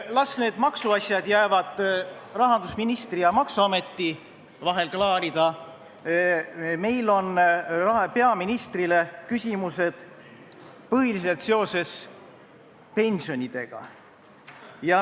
Las need maksuasjad jäävad rahandusministri ja maksuameti vahel klaarida, meil on peaministrile küsimused põhiliselt seoses pensionidega.